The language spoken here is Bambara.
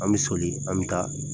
An bi soli an bi taa